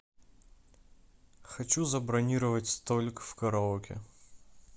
хочу забронировать столик в караоке